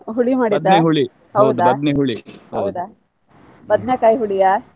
ಹುಳಿ ಮಾಡಿದ ಹೌದಾ ಹೌದಾ ಹೌದಾ ಬದನೆಕಾಯಿ ಹುಳಿಯ?